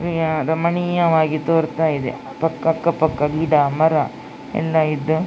ಇದು ಯಾವ್ದೋ ಮನಿ ಆಗಿ ತೋರ್ತಾ ಇದೆ ಅಕ್ಕ ಪಕ್ಕ ಗಿಡ ಮರ ಎಲ್ಲ ಇದ್ದು --